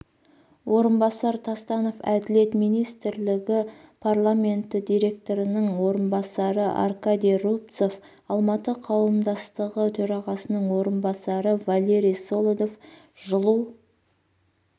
орынбасар тастанов әділет министрлігі департаменті директорының орынбасары аркадий рубцов алматы қауымдастығы төрағасының орынбасары валерий солодов жылу